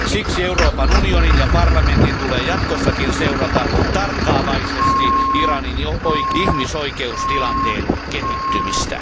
Siksi Euroopan unionin ja parlamentin tulee jatkossakin seurata tarkkaavaisesti Iranin ihmisoikeustilanteen kehittymistä.